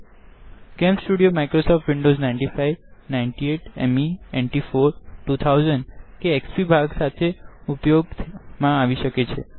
CamStudio Microsoft Windows 95 98 ME NT 40 2000 or XP versions સાથે ઉપયોગ માં આવી શકે છે